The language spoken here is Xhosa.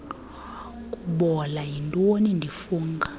kubola yintonga ndifunga